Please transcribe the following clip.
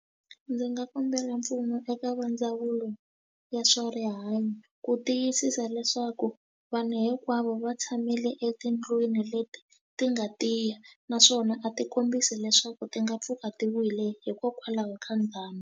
Ndzi nga kombela mpfuno eka va ndzawulo ya swa rihanyo ku tiyisisa leswaku vanhu hinkwavo va tshamile etindlwini leti ti nga tiya naswona a ti kombisi leswaku ti nga pfuka ti wile hikokwalaho ka ndhambi.